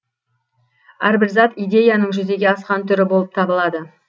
әрбір зат идеяның жүзеге асқан түрі болып табылады